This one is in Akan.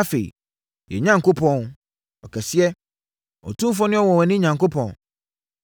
“Afei, yɛn Onyankopɔn, ɔkɛseɛ, otumfoɔ ne ɔnwanwani Onyankopɔn